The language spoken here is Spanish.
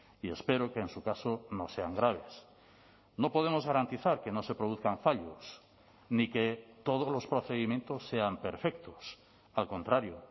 y espero que en su caso no sean graves no podemos garantizar que no se produzcan fallos ni que todos los procedimientos sean perfectos al contrario